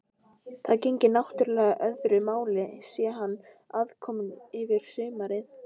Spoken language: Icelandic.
Það gegnir náttúrlega öðru máli sé hann aðkominn yfir sumarið.